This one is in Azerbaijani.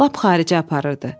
Lap xaricə aparırdı.